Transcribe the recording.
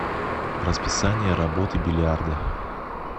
расписание работы бильярда